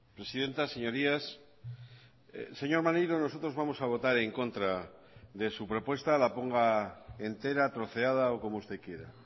presidenta señorías señor maneiro nosotros vamos a votar en contra de su propuesta la ponga entera troceada o como usted quiera